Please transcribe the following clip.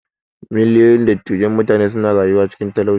Miliyoyin dattijan mutane suna rayuwane cikin talauci.